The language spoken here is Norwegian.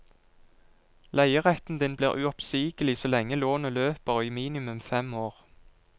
Leieretten din blir uoppsigelig så lenge lånet løper, og i minimum fem år.